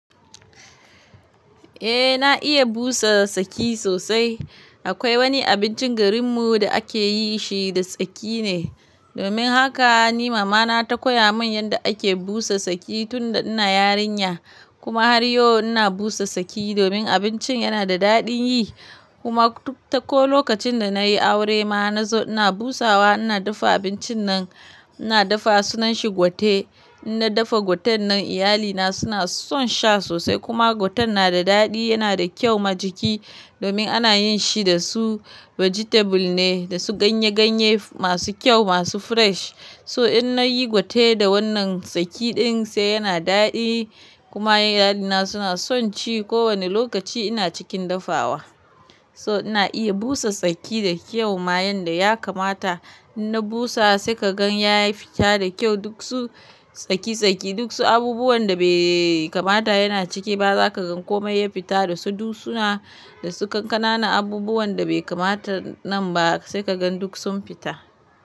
Eh na iya busa saki sosai. Akwai wani abincin garin mu da akeyin shi da tsaki ne. Domin haka ni mama na ta koya mun yadda ake busa tsaki tunda ina yarinya. Kuma har yau ina busa tsaki domin abincin yana da daɗin yi. Kuma duk ko lokacin da nayi aure ma nazo ina busawa, ina dafa abincin nan. Ina dafa sunan shi gwate. In na dafa gwaten nan iyalina suna son sha sosai kuma gwaten na da daɗi, yana da kyau ma jiki domin ana yin shi da su "vegetable" ne, da su ganye ganye masu kyau masu fresh. So in nayi gwate da wannan tsaki din sai yana daɗi. Kuma iyalina suna son ci ko wane lokaci ina cikin dafawa. So ina iya busa tsaki da kyau ma yanda ya kamata. In na busa sai kagan ya fita da kyau duk su tsaki tsaki duk su abubuwan da bai kamata yana cike ba zaka gan komai ya fita da su. Duk suna da su kankana nan abubuwan da bai kamata nan ba sai kagan duk sun fita.